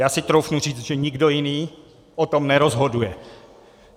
Já si troufnu říct, že nikdo jiný o tom nerozhoduje.